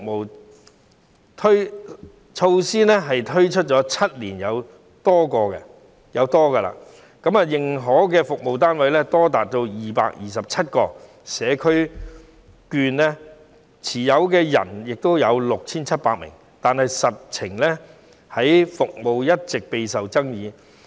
此項措施推出了7年有多，認可的服務單位多達227個，社區券持有人亦有 6,700 名，但服務其實一直也備受爭議。